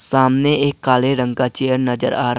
सामने एक काले रंग का चेयर नजर आ--